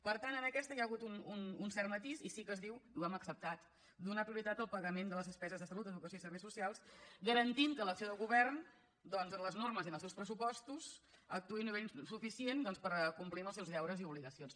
per tant en aquesta hi ha hagut un cert matís i sí que es diu i ho hem acceptat donar prioritat al pagament de les despeses de salut educació i serveis socials garantint que l’acció de govern en les normes i en els seus pressupostos actuï a nivell suficient per complir amb els seus deures i obligacions